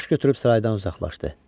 Baş götürüb saraydan uzaqlaşdı.